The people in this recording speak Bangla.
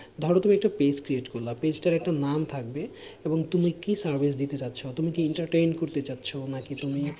ধরো তুমি একটা page create করলা page টার একটা নাম থাকবে এবং তুমি কি service দিতে যাচ্ছ তুমি কি entertain করতে যাচ্ছ নাকি তুমি,